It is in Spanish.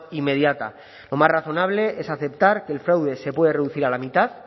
inmediata lo más razonable es aceptar que el fraude se puede reducir a la mitad